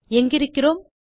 எங்கிருக்கிறோம்